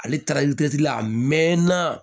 Ale taara la a mɛnna